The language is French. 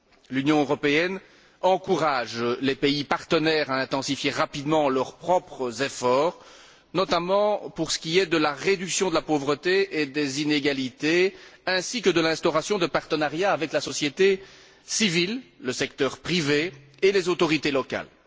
L'Union européenne encourage les pays partenaires à intensifier rapidement leurs propres efforts, notamment pour ce qui est de la réduction de la pauvreté et des inégalités ainsi que de l'instauration de partenariats avec la société civile, le secteur privé et les autorités locales.